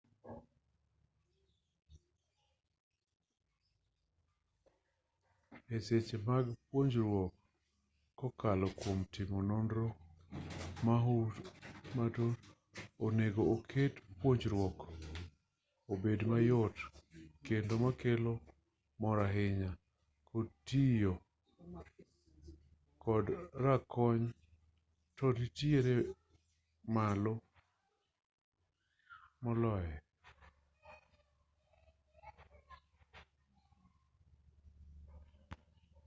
e seche ma puonjruok kokalo kwom timo nonro matut onego oket puonjruok obed mayot kendo makelo mor ahinya tiyo kod rakony to nitiere malo maloye